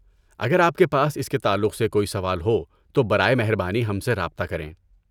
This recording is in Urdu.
اگر آپ کے پاس اس کے تعلق سے کوئی سوال ہو تو برائے مہربانی ہم سے رابطہ کریں۔